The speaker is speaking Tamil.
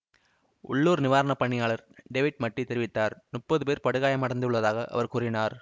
உள்ளூர் நிவாரண பணியாளர் டேவிட் மட்டீ தெரிவித்தார் முப்பது பேர் படுகாயமடைந்துள்ளதாக அவர் கூறினார்